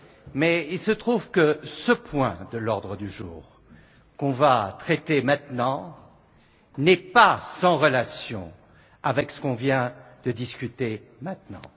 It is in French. Mais il se trouve que ce point de l'ordre du jour, qu'on va traiter maintenant, n'est pas sans relation avec celui dont on vient de discuter à l'instant.